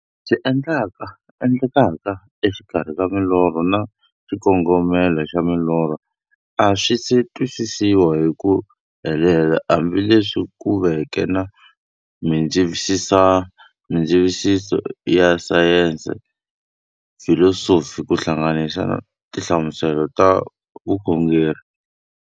Leswi endlekaka exikarhi ka milorho na xikongomelo xa milorho a swisi twisisiwa hi ku helela, hambi leswi ku veke na mindzavisiso ya sayensi, filosofi ku hlanganisa na tinhlamuselo hi vukhongori.